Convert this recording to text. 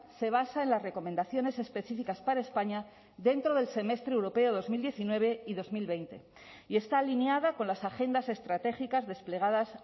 se basa en las recomendaciones específicas para españa dentro del semestre europeo dos mil diecinueve y dos mil veinte y está alineada con las agendas estratégicas desplegadas